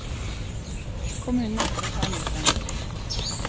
Kommunen nekter å ta mot dem.